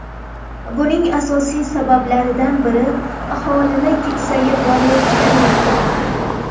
Buning asosiy sabablaridan biri aholining keksayib borayotgani.